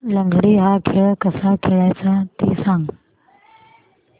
लंगडी हा खेळ कसा खेळाचा ते सांग